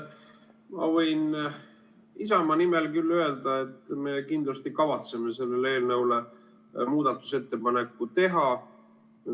Ma võin Isamaa nimel küll öelda, et me kindlasti kavatseme sellele eelnõule muudatusettepaneku teha.